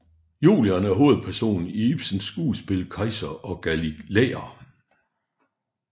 Julian er hovedperson i Ibsens skuespil Kejser og galilæer